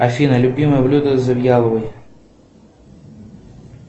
афина любимое блюдо завьяловой